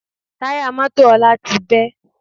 Táyà mọ́tò Ọlá ti bẹ́